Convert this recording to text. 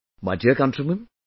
My dear countrymen,